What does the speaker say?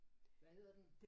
Hvad hedder den?